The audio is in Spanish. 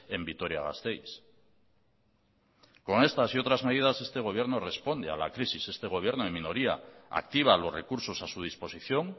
en vitoria gasteiz con estas y otras medidas este gobierno responde a la crisis este gobierno en minoría activa los recursos a su disposición